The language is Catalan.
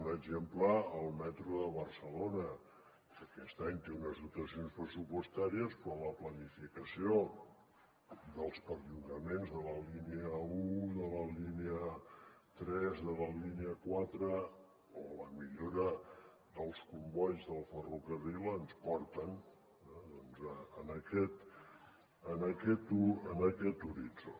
un exemple el metro de barcelona que aquest any té unes dotacions pressupostàries però la planificació dels perllongaments de la línia un de la línia tres de la línia quatre o la millora dels combois del ferrocarril ens porten a aquest horitzó